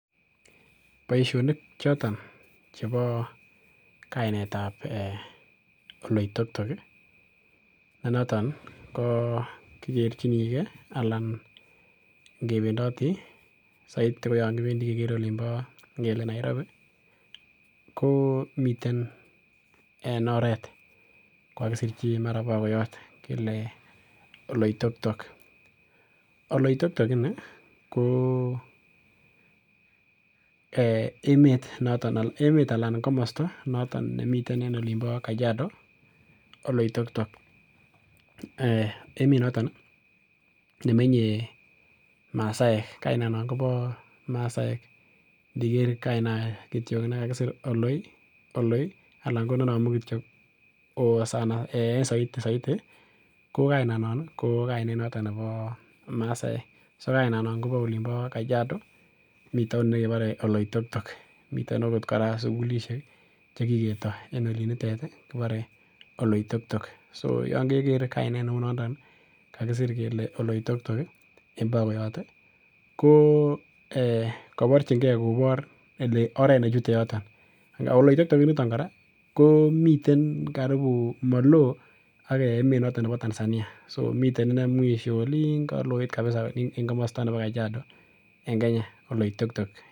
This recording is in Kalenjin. Boisionik choton chebo kainetab ee Oletoitok ne noton ko kigerchinige anan ngebendoti saiti ko yon kipendi kegere ngele Nairobi. Komiten en oret kogakisirchi mara ko bakoyot kele Oleitoktok. Oleitoktok ini ko emet noto anan komosta noton nemiten en olimbo kajiado, Oleitoktok. Emet noton nemenye masaek. Kainano kobo masaek, ndiker kainanon kityok ne kakisir Oloi, anan ko ne namu kityo O kobo masaek. En saiti ko kainanon ko kainet noto nebo masaek. So kainanon kobo olimbo Kajiado, miton ne kibore Oleitoktok. Miten agot kora sugulisiek che kiketoi en olinitet, kibore Oleitok tok. So yon keger kainet neu nondon kakisir kele Oleitoktok, en bakoyot ko ee kaborchinge kobor kole oret ne chute yoton. Oleitoktok initon kora komiten karipu maloo ak emet noto bo Tanzania. Somiten inei mwisho oliin kaloit kapisa en komosta nebo Kajiado en Kenya, Oleitoktok.